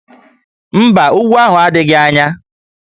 Mba, úgwú ahụ adịghị anya